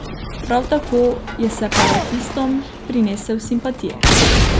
Prav tako je separatistom prinesel simpatije.